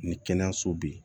Ni kɛnɛyaso bɛ yen